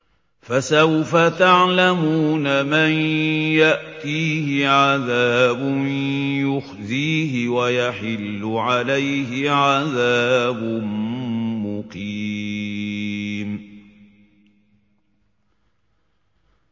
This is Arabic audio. فَسَوْفَ تَعْلَمُونَ مَن يَأْتِيهِ عَذَابٌ يُخْزِيهِ وَيَحِلُّ عَلَيْهِ عَذَابٌ مُّقِيمٌ